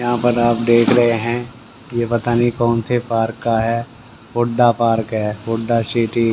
यहां पर आप देख रहे हैं ये पता नहीं कौन से पार्क का है हुड्डा पार्क है हुड्डा सिटी --